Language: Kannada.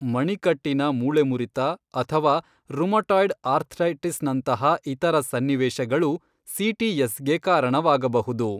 ಮಣಿಕಟ್ಟಿನ ಮೂಳೆಮುರಿತ ಅಥವಾ ರುಮಟಾಯ್ಡ್ ಅರ್ಥೈಟಿಸ್ನಂತಹ ಇತರ ಸನ್ನಿವೇಶಗಳು ಸಿಟಿಎಸ್ಗೆ ಕಾರಣವಾಗಬಹುದು.